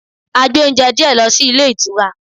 A gbé oúnjẹ díẹ̀ lọ sí ilé ìtura.